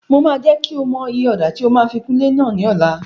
Mo máa jẹ́ kí o mọ iye ọ̀dà tí a máa fi kun ilé náà ní ọ̀la.